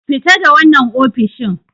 Fita da wannan ofishin!